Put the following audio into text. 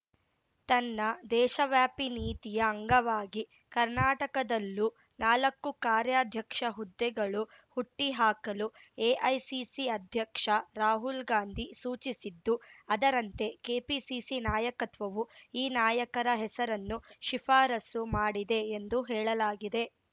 ತನ್ನ ದೇಶವ್ಯಾಪಿ ನೀತಿಯ ಅಂಗವಾಗಿ ಕರ್ನಾಟಕದಲ್ಲೂ ನಾಲಕ್ಕು ಕಾರ್ಯಾಧ್ಯಕ್ಷ ಹುದ್ದೆಗಳು ಹುಟ್ಟಿಹಾಕಲು ಎಐಸಿಸಿ ಅಧ್ಯಕ್ಷ ರಾಹುಲ್‌ ಗಾಂಧಿ ಸೂಚಿಸಿದ್ದು ಅದರಂತೆ ಕೆಪಿಸಿಸಿ ನಾಯಕತ್ವವು ಈ ನಾಯಕರ ಹೆಸರನ್ನು ಶಿಫಾರಸು ಮಾಡಿದೆ ಎಂದು ಹೇಳಲಾಗಿದೆ